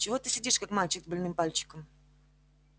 чего ты сидишь как мальчик с больным пальчиком